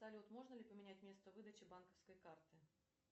салют можно ли поменять место выдачи банковской карты